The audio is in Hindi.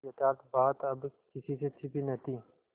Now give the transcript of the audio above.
यथार्थ बात अब किसी से छिपी न थी